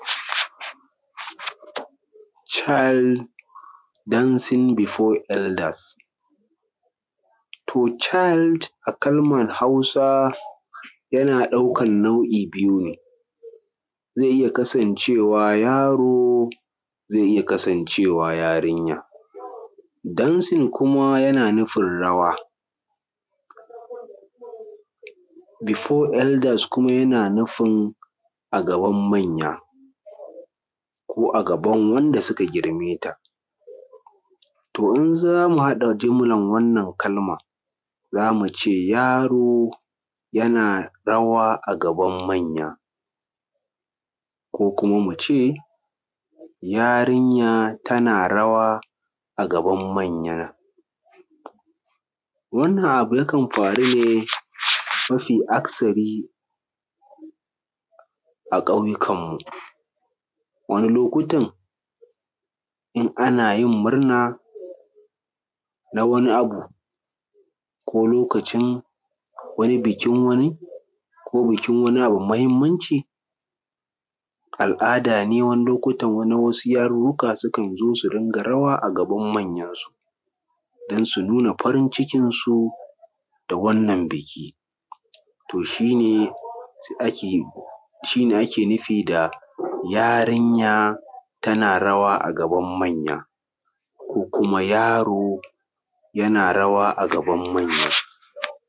Child dancing before elders. To, child a Kalmar Hausa yana ɗaukan nau’u’i biyu ne, zai iya kasancewa yaro zai iya kasancewa yarinya, dancing kuma yana nufin rawa, before elders kuma yana nufin a gaban manya, ko a gaban wanda suka grime ta. To in za mu haɗa jimlar wannan kalma, za mu ce yaro yana rawa a gaban manya, ko kuma mu ce yarinya tana rawa a gaban manya. Wannan abu yakan faru ne mafi akasari a ƙauyukan mu. Wani lokutan in ana yin murna na wani abu ko lokacin wani bikin wani ko bikin wani abu mai mahimmanci. Al’ada ne na wasu yarurruka sukan su dinga rawa a gaban manya, don su nuna farin-cikin su da wannan biki. To shi ne ake nufi da yarinya tana rawa a gaban manya ko kuma yaro yana rawa a gaban manya.